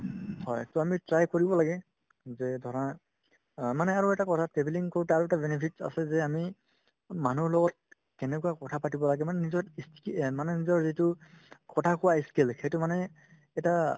হয় to আমি try কৰিব লাগে যে ধৰা অ মানে আৰু এটা কথা travelling কৰোতে আৰু এটা benefit আছে যে আমি মানুহৰ লগত কেনেকুৱা কথা পাতিব লাগে মানে নিজৰ ই stand মানে নিজৰ যিটো কথা কোৱা skill সেইটো মানে এটা